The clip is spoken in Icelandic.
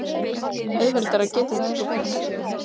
Auðveldara getur þetta ekki verið.